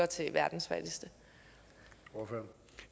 til verdens fattigste